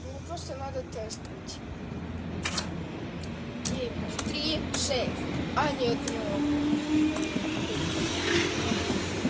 ну мне просто надо тест пройти девять три шесть а нет это не он не он а какой пароль